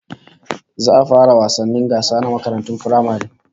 Za a fara wasannin gasa na makarantun firamare